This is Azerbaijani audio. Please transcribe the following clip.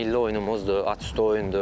Milli oyunumuzdur, atüstü oyundur.